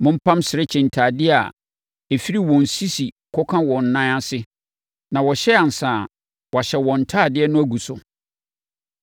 “Mompam serekye ntadeɛ a ɛfiri wɔn sisi kɔka wɔn nan ase, na wɔhyɛ ansa a, wɔahyɛ wɔn ntadeɛ no agu so.